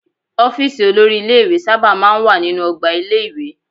Ọ́fíísì olórí ilé-ìwé sábà máa ń wà nínú ọgbà ilé-ìwé.